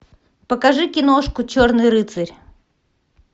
покажи киношку черный рыцарь